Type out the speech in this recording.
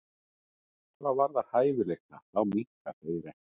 Hvað varðar hæfileika þá minnka þeir ekkert.